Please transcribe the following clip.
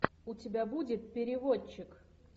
у тебя будет переводчик